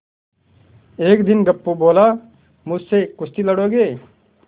एक दिन गप्पू बोला मुझसे कुश्ती लड़ोगे